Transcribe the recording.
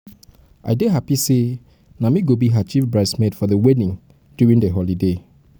i dey happy say na me go be her chief bride's maid for the wedding during the holiday